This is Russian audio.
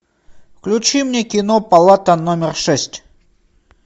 включи мне кино палата номер шесть